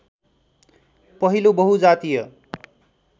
पहिलो बहुजातीय